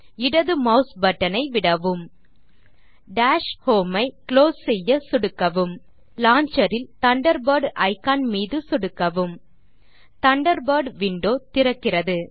இடது mouse button ஐ விடவும் டாஷ் ஹோம் ஐ குளோஸ் செய்ய சொடுக்கவும் லான்ச்சர் இல் தண்டர்பர்ட் இக்கான் மீது சொடுக்கவும் தண்டர்பர்ட் விண்டோ திறக்கிறது